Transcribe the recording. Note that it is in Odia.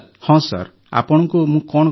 ହଁ ସାର ଆପଣଙ୍କୁ ମୁଁ କଣ କହିବି